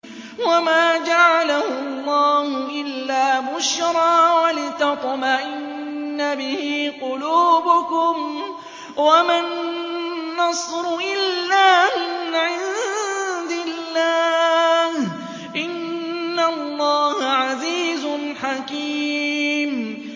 وَمَا جَعَلَهُ اللَّهُ إِلَّا بُشْرَىٰ وَلِتَطْمَئِنَّ بِهِ قُلُوبُكُمْ ۚ وَمَا النَّصْرُ إِلَّا مِنْ عِندِ اللَّهِ ۚ إِنَّ اللَّهَ عَزِيزٌ حَكِيمٌ